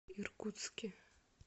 иркутске